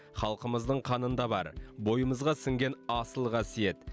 халқымыздың қанында бар бойымызға сіңген асыл қасиет